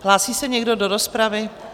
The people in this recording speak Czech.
Hlásí se někdo do rozpravy?